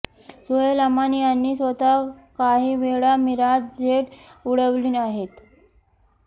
सोहेल अमान यांनी स्वतः काही वेळा मिराज जेट उडवली आहेत